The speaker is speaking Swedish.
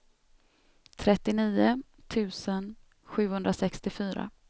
trettionio tusen sjuhundrasextiofyra